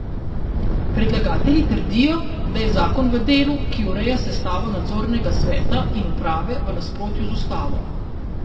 Predlagatelji trdijo, da je zakon v delu, ki ureja sestavo nadzornega sveta in uprave, v nasprotju z ustavo.